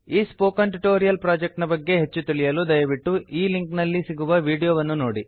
ಈ spoken tutorial project ನ ಬಗ್ಗೆ ಹೆಚ್ಚು ತಿಳಿಯಲು ದಯವಿಟ್ಟು ಈ ಲಿಂಕ್ ನಲ್ಲಿ ಸಿಗುವ ವೀಡಿಯೋ ವನ್ನು ನೋಡಿ